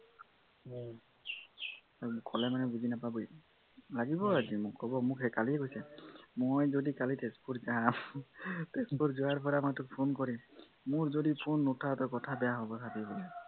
কলে মানে বুজি নাপাব ই লাগিব আজি মোক হে কালি হৈছে মই যদি কালি তেজপুৰ যাম তেজপুৰ যোৱাৰ পৰা মই তোক phone কৰি আছো মোৰ যদি phone নুঠাৱ তই কথা বেয়া হব চাবি বুলে